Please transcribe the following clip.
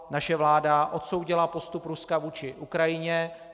Naše vláda odsoudila postup Ruska vůči Ukrajině.